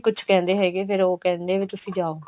ਕੁੱਝ ਕਹਿੰਦੇ ਹੈਗੇ ਫਿਰ ਉਹ ਕਹਿੰਦੇ ਆਂ ਵੀ ਤੁਸੀਂ ਜਾਓ